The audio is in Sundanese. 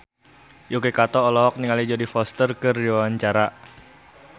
Yuki Kato olohok ningali Jodie Foster keur diwawancara